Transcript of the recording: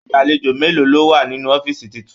Agbalejo mélòó lọ wá nínú ọ̀fiísí títún?